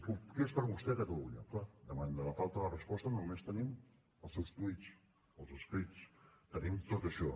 què és per a vostè catalunya clar davant de la falta de resposta només tenim els seus tuits els escrits tenim tot això